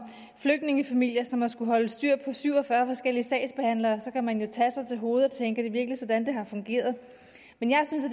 flygtningefamilier som har skullet holde styr på syv og fyrre forskellige sagsbehandlere kan man jo tage sig til hovedet og tænke er det virkelig sådan det har fungeret men jeg synes at